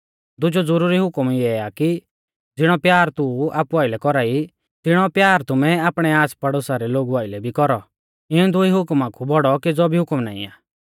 दुजौ ज़ुरुरी हुकम इऐ आ कि ज़िणौ प्यार तू आपु आइलै कौरा ई तिणौ प्यार तुमै आपणै आसपड़ोसा रै लोगु आइलै भी कौरौ इऊं दुई हुकमा कु बौड़ौ केज़ौ भी हुकम नाईं आ